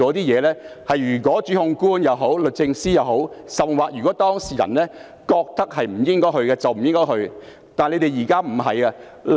如果檢控官、律政司甚或當事人覺得不應該繼續，便應該停止。